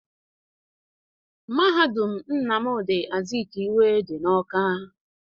Mahadum Nnamdi Azikiwe dị Ọka.